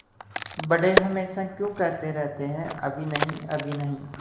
बड़े हमेशा क्यों कहते रहते हैं अभी नहीं अभी नहीं